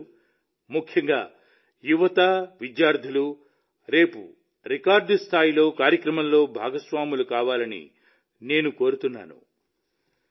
మీ అందరూ ముఖ్యంగా యువత విద్యార్థులు రేపు రికార్డు సంఖ్యలో కార్యక్రమంలో భాగస్వాములు కావాలని నేను కోరుతున్నాను